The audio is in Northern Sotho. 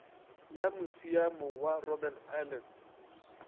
ya musiamo wa robben island